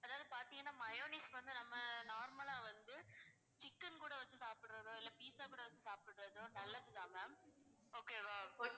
அதாவது பாத்தீங்கன்னா mayonnaise வந்து நம்ம normal ஆ வந்து chicken கூட வச்சு சாப்பிடுறதோ pizza கூட வச்சு சாப்பிடுறதோ நல்லதுதான் ma'am okay வா